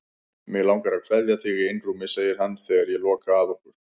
Mig langar að kveðja þig í einrúmi, segir hann þegar ég loka að okkur.